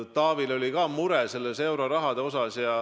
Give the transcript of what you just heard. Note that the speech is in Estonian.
Taavil oli ka mure euroraha pärast.